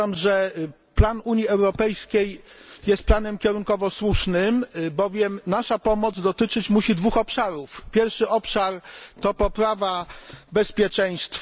Uważam, że plan Unii Europejskiej jest kierunkowo słuszny, bowiem nasza pomoc musi dotyczyć dwóch obszarów. Pierwszy obszar to poprawa bezpieczeństwa.